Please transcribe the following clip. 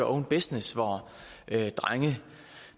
own business hvor drenge